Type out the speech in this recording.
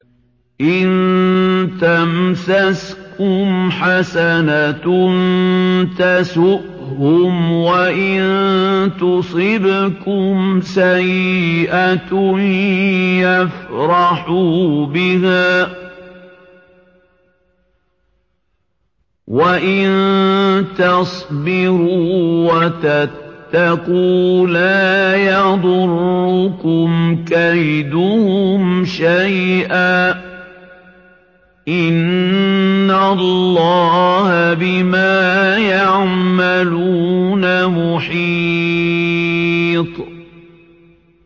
إِن تَمْسَسْكُمْ حَسَنَةٌ تَسُؤْهُمْ وَإِن تُصِبْكُمْ سَيِّئَةٌ يَفْرَحُوا بِهَا ۖ وَإِن تَصْبِرُوا وَتَتَّقُوا لَا يَضُرُّكُمْ كَيْدُهُمْ شَيْئًا ۗ إِنَّ اللَّهَ بِمَا يَعْمَلُونَ مُحِيطٌ